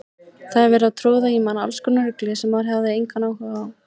Það var verið að troða í mann allskonar rugli sem maður hafði engan áhuga á.